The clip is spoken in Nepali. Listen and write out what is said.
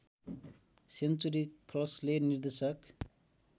सेन्चुरी फक्सले निर्देशक